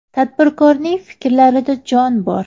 Tadbirkorning fikrlarida jon bor.